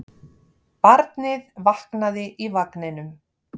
Barnið vaknaði í vagninum.